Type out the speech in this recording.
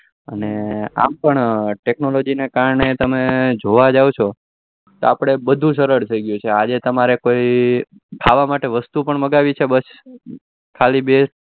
અને આમ પણ technology ના કારણે તમે જોવા જાવ તો બધું સરળ થઇ ગયું છે આજે તમારે કોઈ ખાવા માટે વસ્તુ મગાવી પણ છે